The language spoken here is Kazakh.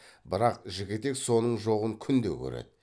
бірақ жігітек соның жоғын күнде көреді